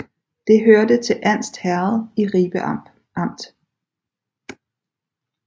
Det hørte til Andst Herred i Ribe Amt